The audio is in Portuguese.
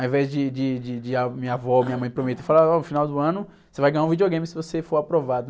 Ao invés de, de, de, de a minha avó ou minha mãe prometerem e falarem que no final do ano você vai ganhar um videogame se você for aprovado.